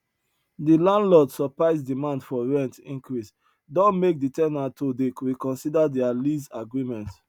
de landlord surprise demand for rent increase don make de ten ant to dey reconsider their lease agreement